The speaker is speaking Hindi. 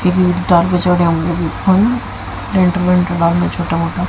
छोटा मोटा--